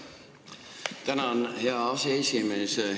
Tänan, hea aseesimees!